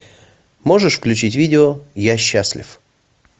можешь включить видео я счастлив